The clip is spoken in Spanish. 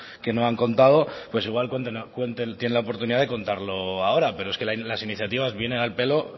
que no han contado pues igual tienen la oportunidad de contarlo ahora pero es que las iniciativas vienen al pelo